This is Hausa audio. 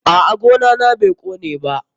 A'a, gona na bai kone ba.